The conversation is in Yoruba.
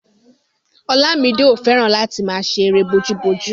Olamide ò fẹ́ràn láti máa ṣe erée bojúbojú